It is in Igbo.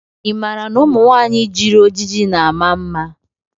Ị maara na ụmụ nwanyị jiri ojiji na ama mma?